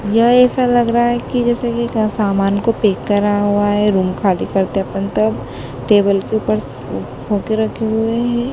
यह ऐसा लग रहा है कि जैसे कि का सामान को पैक करा हुआ है रूम खाली करते अपन तब टेबल के ऊपर स बुक रखे हुए हैं।